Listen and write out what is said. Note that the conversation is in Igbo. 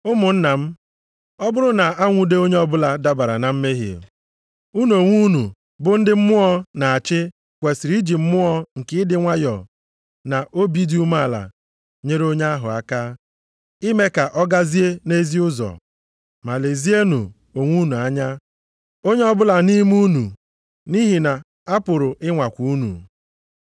Ụmụnna m, ọ bụrụ na-anwude onye ọbụla dabara na mmehie, unu onwe unu bụ ndị Mmụọ na-achị kwesiri iji mmụọ nke ịdị nwayọọ na obi dị umeala nyere onye ahụ aka, ime ka ọ gazie nʼezi ụzọ. Ma lezienụ onwe unu anya, onye ọbụla nʼime unu, nʼihi na a pụrụ ịnwakwa unu.